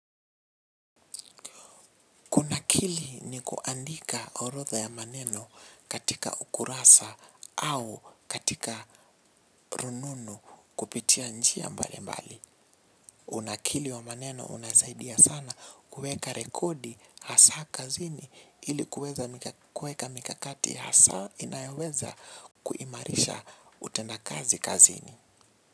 Unakili ni kuandika orodha ya maneno katika ukurasa au katika rununu kupitia njia mbali mbali. Unakili wa maneno unasaidia sana kuweka rekodi hasa kazini ilikuweka mikakati hasa inayoweza kuimarisha utendakazi kazini.